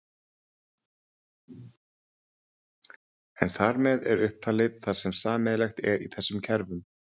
En þar með er upptalið það sem sameiginlegt er þessum kerfum.